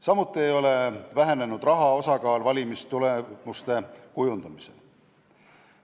Samuti ei ole vähenenud raha osakaal valimistulemuste kujundamisel.